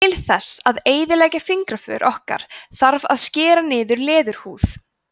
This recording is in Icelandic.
til þess að eyðileggja fingraför okkar þarf að skera niður í leðurhúð